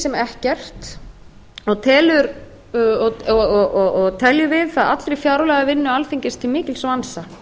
sem engin og teljum við það allri fjárlagavinnu alþingis til mikils vansa